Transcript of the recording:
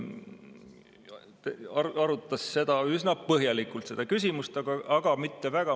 Seda küsimust arutati üsna põhjalikult, aga mitte väga.